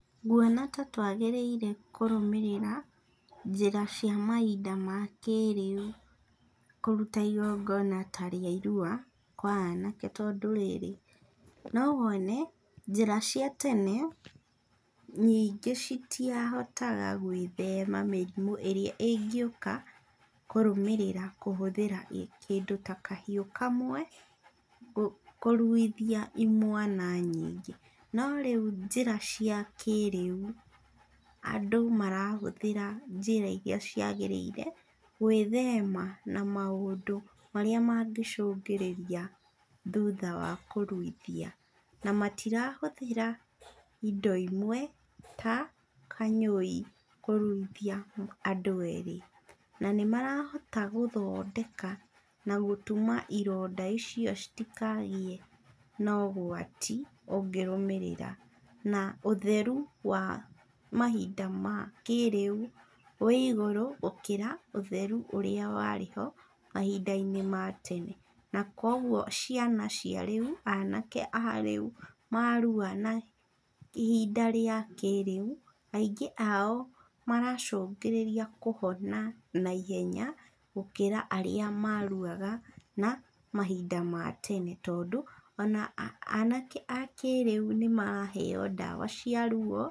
Nguona ta twagĩrĩire kũrũmĩrĩra njĩra cia mahinda ma kĩrĩu, kũruta igongona ta rĩa irua, kwa anake tondũ rĩrĩ, nowone njĩra cia tene, nyingĩ citiahotaga gwĩthema mĩrimũ ĩrĩa ĩngĩũka kũrũmĩrĩra kũhũthĩra kĩndũ ta kahiũ kamwe, kũruithia imwana nyingĩ, no rĩu njĩra cia kĩrĩu, andũ marahũthĩra njĩra iria ciagĩrĩire, gwĩthema na maũndũ marĩa mangĩcũrĩra thuta wa kũruithia, na matirahũthĩra indo imwe ta kanyũi kũruithia andũ erĩ. Na nĩmarahota gũthondeka na gũtuma ironda icio citikagĩe na ũgwati ũngĩrũmĩrĩra, na ũtheru wa mahinda ma kĩrĩu, wĩ igũrũ gũkĩra ũtheru ũrĩa warĩho mahinda-inĩ ma tene, na kwa ũguo ciana cia rĩu, anake a rĩu marua na ihinda rĩa kĩrĩu, aingĩ ao maracũngĩrĩria kũhona na ihenya gũkĩra arĩa maruaga na mahinda ma tene tondũ ona anake a kĩrĩu nĩmaraheo ndawa cia ruo.